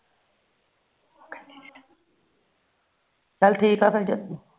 ਚੱਲ ਠੀਕ ਆ ਫਿਰ